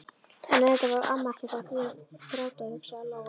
En auðvitað var amma ekkert að gráta, hugsaði Lóa Lóa.